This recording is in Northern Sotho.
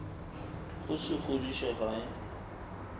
go se kgodiše ga e